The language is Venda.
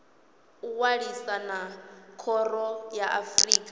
ṅwalisa na khoro ya afrika